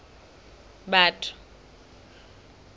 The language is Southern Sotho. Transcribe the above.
batho